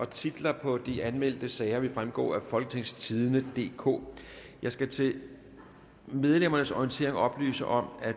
titler på de anmeldte sager vil fremgå af folketingstidende DK jeg skal til medlemmernes orientering oplyse om at